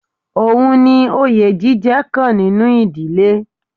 Ohun ni oye jíjẹ kan nínú ìdílé.